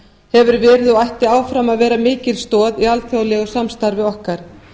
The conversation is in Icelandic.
hefur verið og ætti áfram að vera mikil stoð í alþjóðlegu samstarfi okkar